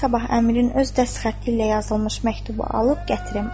Qoy sabah Əmirin öz dəst xətti ilə yazılmış məktubu alıb gətirim.